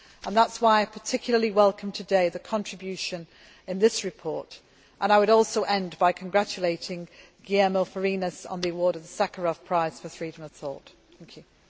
That is why I particularly welcome today the contribution in this report and I would also end by congratulating Guillermo Fariñas on the award of the Sakharov Prize for Freedom of Thought.